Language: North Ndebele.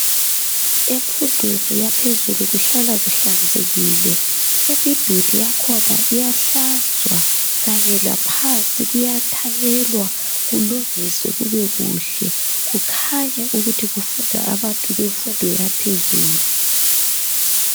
Emfundweni yaphezulu kuhlala kuhlanzekile. Imiduli yakhona iyahlanzwa kanye laphansi kuyathanyelwa kulungiswe kube kuhle kukhanye ukuthi kufunda abantu bemfundo yaphezulu.